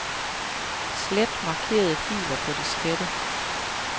Slet markerede filer på diskette.